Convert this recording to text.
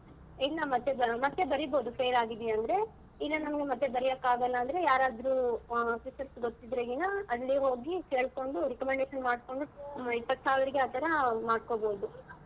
ಇಲ್ಲ ಮತ್ತೆ ಮತ್ತೆ ಬರೀಬೋದು fail ಆಗಿದ್ದೀಯಾ ಅಂದ್ರೆ ಇಲ್ಲ ನಮ್ಗೆ ಮತ್ತೆ ಬರಿಯಕ್ಕಾಗಲ್ಲ ಅಂದ್ರೆ ಯಾರಾದ್ರೂ officers ಗೊತ್ತಿದ್ರೇನಾ ಅಲ್ಲಿ ಹೋಗಿ ಕೇಳ್ಕೊಂಡು recommendation ಮಾಡ್ಕೊಂಡು ಇಪ್ಪತ್ತ್ ಸಾವಿರಕ್ಕೆ ಆತರ ಮಾಡ್ಕೊಬೋದು.